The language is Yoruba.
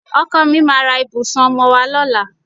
Ọkọ mi ma ra ìbùsùn ọmọwọ́ lọ́la.